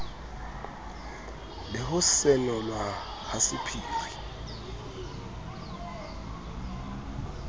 le ho senolwa ha sephiri